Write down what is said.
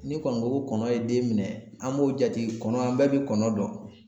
Ni kɔni ko ko kɔnɔ ye den minɛ an b'o jate kɔnɔ an bɛɛ bi kɔnɔ dɔn